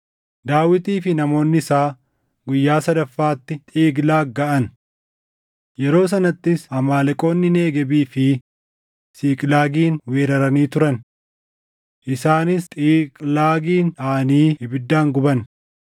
Daawitii fi namoonni isaa guyyaa sadaffaatti Xiiqlaag gaʼan. Yeroo sanattis Amaaleqoonni Negeebii fi Siiqlaagin weeraranii turan. Isaanis Xiiqlaagin dhaʼanii ibiddaan guban;